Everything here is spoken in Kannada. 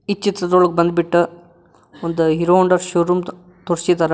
ಈ ಚಿತ್ರದೊಳಗ್ ಬಂದ್ಬಿಟ್ಟು ಒಂದು ಹೀರೋ ಹೋಂಡಾ ಶೋರೂಮ್ ತೋರಿಸಿದಾರ.